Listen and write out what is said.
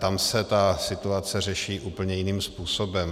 Tam se ta situace řeší úplně jiným způsobem.